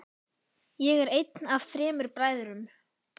Ég er einn af þremur bræðrum.